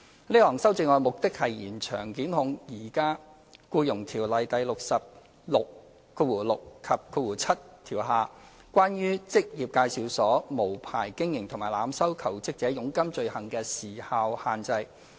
這項修正案的目的是延長檢控在現行《僱傭條例》第606及7條下，關於職業介紹所無牌經營和濫收求職者佣金罪行的時效限制。